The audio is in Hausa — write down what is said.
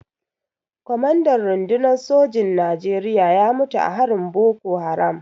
Kwamandan rundunar sojin Najeriya ya mutu a harin Boko Haram.